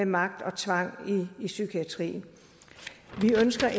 magt og tvang i psykiatrien vi ønsker